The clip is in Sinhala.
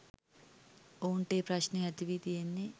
ඔවුන්ට ඒ ප්‍රශ්නය ඇතිවී තියෙන්නේ